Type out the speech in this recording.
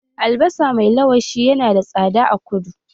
Albasa mai lawashi ya na da tsada a kudu.